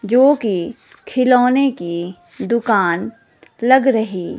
जो कि खिलौने की दुकान लग रही--